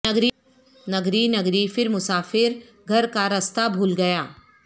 نگری نگری پھر مسافر گھر کا رستہ بھو ل گیا